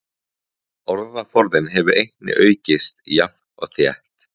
Orðaforðinn hefur einnig aukist jafnt og þétt.